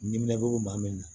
Dimin bɛ maa min na